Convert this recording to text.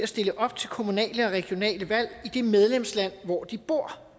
stille op til kommunale og regionale valg i det medlemsland hvor de bor